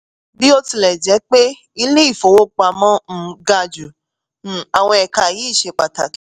bí ó tilẹ̀ jẹ́ pé ilé-ìfowópamọ́ um ga jù um àwọn ẹ̀ka yìí ṣe pàtàkì.